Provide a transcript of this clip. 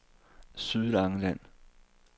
Sydlangeland